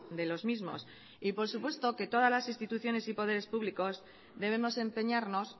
de los mismos y por supuesto que todas las instituciones y poderes públicos debemos empeñarnos